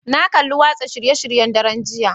Na kalli watsa shirye-shiryen daren jiya